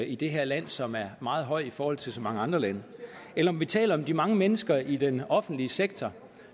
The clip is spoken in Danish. i det her land som er meget høj i forhold til så mange andre lande eller om vi taler om de mange mennesker i den offentlige sektor